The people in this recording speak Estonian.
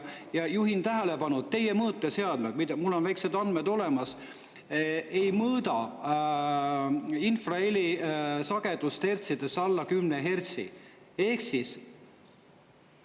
Ja juhin tähelepanu, et teie mõõteseadmed – mul on mingid andmed olemas – ei mõõda alla kümne hertsist infraheli sagedust.